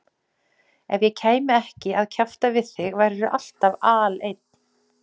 Ef ég kæmi ekki að kjafta við þig værirðu alltaf aleinn.